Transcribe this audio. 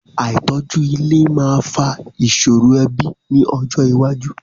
Àìtọ́jú ilé máa fa ìṣòro ẹbí ní ọjọ iwájú.